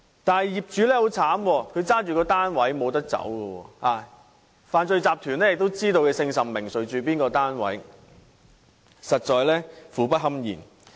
然而，業主卻十分可憐，因為他們持有單位，想避也避不了，犯罪集團又知道他們姓甚名誰，住在哪個單位，實在苦不堪言。